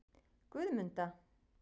Guðmunda